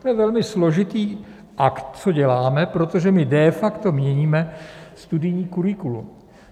To je velmi složitý akt, co děláme, protože my de facto měníme studijní curriculum.